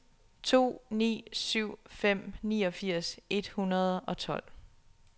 to ni syv fem niogfirs et hundrede og tolv